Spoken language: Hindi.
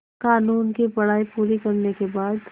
क़ानून की पढा़ई पूरी करने के बाद